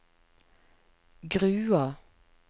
Grua